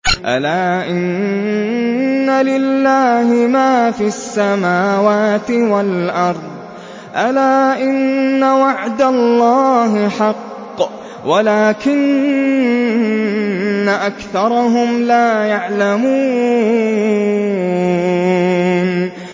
أَلَا إِنَّ لِلَّهِ مَا فِي السَّمَاوَاتِ وَالْأَرْضِ ۗ أَلَا إِنَّ وَعْدَ اللَّهِ حَقٌّ وَلَٰكِنَّ أَكْثَرَهُمْ لَا يَعْلَمُونَ